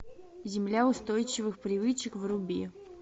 земля устойчивых привычек вруби